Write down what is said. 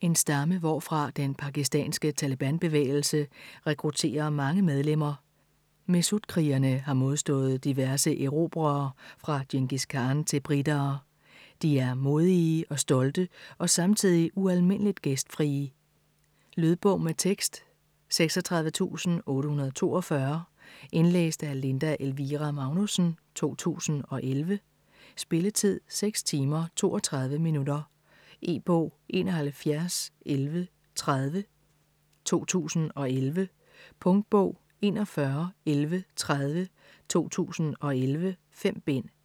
En stamme, hvorfra den pakistanske Taleban-bevægelse rekrutterer mange medlemmer. Mehsud-krigerne har modstået diverse erobrere fra Djengis Khan til britere. De er modige og stolte og samtidig ualmindeligt gæstfrie. Lydbog med tekst 36842 Indlæst af Linda Elvira Magnussen, 2011. Spilletid: 6 timer, 32 minutter. E-bog 711130 2011. Punktbog 411130 2011. 5 bind.